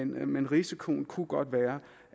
men risikoen kunne godt være